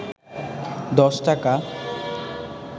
১০ টাকা